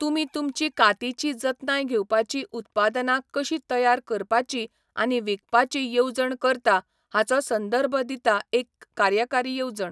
तुमी तुमचीं कातीची जतनाय घेवपाचीं उत्पादनां कशीं तयार करपाची आनी विकपाची येवजण करता हाचो संदर्भ दिता एक कार्यकारी येवजण.